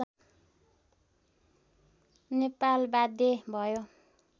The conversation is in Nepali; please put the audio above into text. नेपाल बाध्य भयो